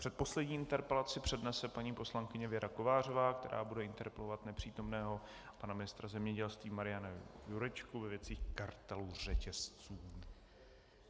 Předposlední interpelaci přednese paní poslankyně Věra Kovářová, která bude interpelovat nepřítomného pana ministra zemědělství Mariana Jurečku ve věci kartelu řetězců.